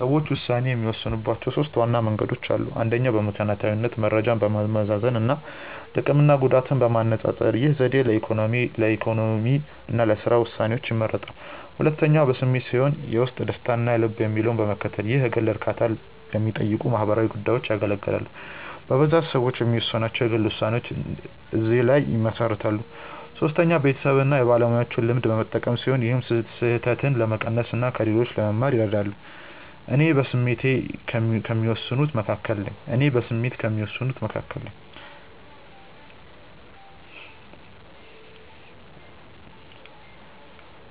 ሰዎች ውሳኔ የሚወስኑባቸው ሦስት ዋና መንገዶች አሉ። አንደኛው በምክንያታዊነት መረጃን በማመዛዘን እና ጥቅምና ጉዳትን በማነፃፀር። ይህ ዘዴ ለኢኮኖሚ እና ለሥራ ውሳኔዎች ይመረጣል። ሁለተኛው በስሜት ሲሆን የውስጥ ደስታን እና ልብ የሚለውን በመከተል። ይህ የግል እርካታን ለሚጠይቁ ማህበራዊ ጉዳዮች ያገለግላል። በብዛት ሰዎች የሚወስኗቸው የግል ውሳኔዎች እዚህ ላይ ይመሰረታሉ። ሶስተኛው የቤተሰብን እና የባለሙያዎችን ልምድ በመጠቀም ሲሆን ይህም ስህተትን ለመቀነስ እና ከሌሎች ለመማር ይረዳል። እኔ በስሜት ከሚወስኑት መካከል ነኝ።